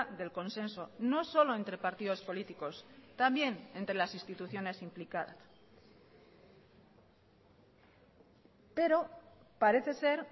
del consenso no solo entre partidos políticos también entre las instituciones implicadas pero parece ser